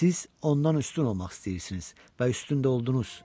Siz ondan üstün olmaq istəyirsiniz və üstün də oldunuz.